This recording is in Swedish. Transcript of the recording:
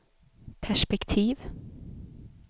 perspektiv